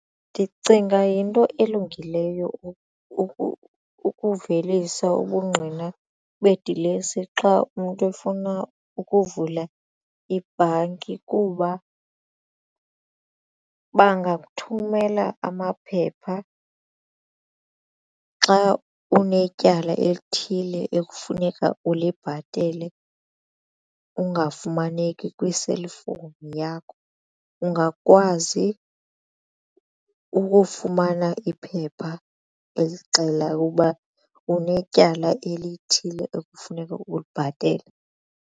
Ndicinga yinto elungileyo ukuvelisa ubungqina bedilesi xa umntu efuna ukuvula ibhanki kuba bangathumela amaphepha xa unetyala elithile ekufuneka ulibhatele ungafumaneki kwi-cellphone ifowuni yakho ungakwazi ukufumana iphepha elixela uba unetyala elithile ekufuneka ulibhatele.